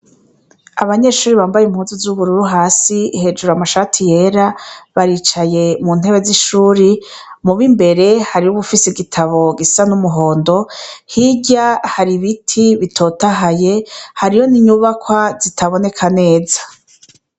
Abanyeshure bambaye impuzu z'ubururu hasi, hejuru amashati yera baricaye mu ntebe z'ishuri, mub'imbere hariho uwufise igitabo gisa n'umuhondo, hirya hari ibiti bitotahaye, hariho n'inyubakwa zitaboneka neza.